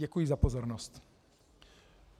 Děkuji za pozornost.